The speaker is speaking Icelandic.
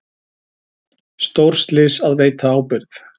Stórslys að veita ábyrgð